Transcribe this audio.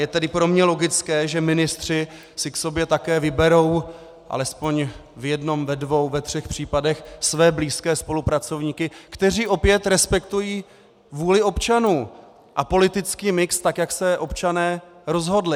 Je tedy pro mě logické, že ministři si k sobě také vyberou aspoň v jednom, ve dvou, ve třech případech své blízké spolupracovníky, kteří opět respektují vůli občanů a politický mix tak, jak se občané rozhodli.